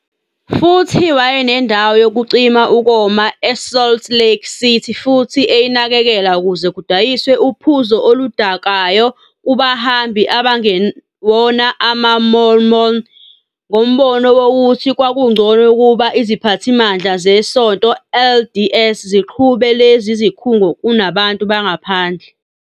Futhi wayenendawo yokucima ukoma e-Salt Lake City futhi eyinakekela ukuze kudayiswe uphuzo oludakayo kubahambi abangewona amaMormon, ngombono wokuthi kwakungcono ukuba iziphathimandla zeSonto LDS ziqhube lezo zikhungo kunabantu bangaphandle.